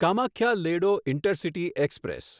Kamakhya Ledo intercity express